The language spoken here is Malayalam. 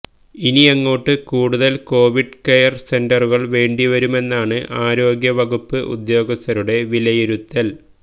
ഇനിയങ്ങോട്ട് കൂടുതല് കൊവിഡ് കെയര് സെന്ററുകള് വേണ്ടി വരുമെന്നാണ് ആരോഗ്യവകുപ്പ് ഉദ്യോഗസ്ഥരുടെ വിലയിരുത്തല്